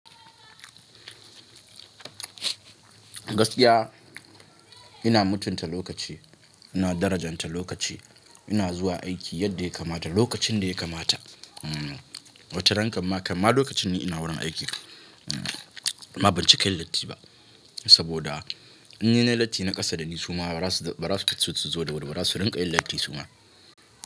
Gaskiya ina mutunta lokaci, ina darajanta lokaci, ina zuwa aiki yadda ya kamata, lokacin da ya kamata. Wataran kamma kam ma lokacin ni ina wurin aiki. Ma banci ka yin latti ba saboda in ni nayi latti na ƙasa da ni suma bara su zo su zo da wuri ba zasu rinƙa yin latti suma.